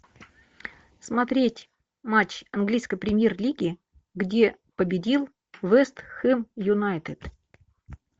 смотреть матч английской премьер лиги где победил вест хэм юнайтед